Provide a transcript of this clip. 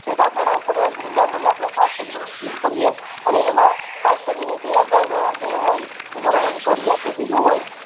નીંદણ ને અપડે ખાસ કરીને દૂર કરી એ અને એમ ખાસ કરીને જે અગાઉ ના જે હોય બારોબર ઘડિયા કે બીજું હોય